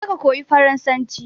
Je ka koya farasanci!